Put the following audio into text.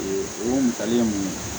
Ee o misali mun